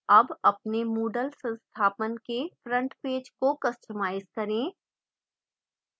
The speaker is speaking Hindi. अब अपने moodle संस्थापन के front page को customize करें